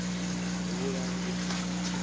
vhulangi